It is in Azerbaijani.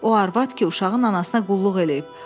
O arvad ki, uşağın anasına qulluq eləyib.